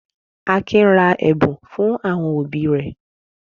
Akin ra ẹ̀bùn fún àwọn òbí rẹ̀?